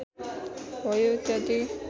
भयो इत्यादि